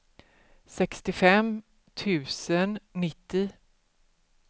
sextiofem tusen nittio